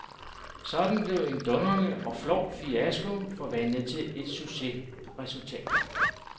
Sådan blev en dundrende og flov fiasko forvandlet til et succesresultat.